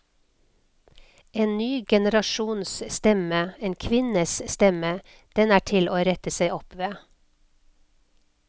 En ny generasjons stemme, en kvinnes stemme, den er til å rette seg opp ved.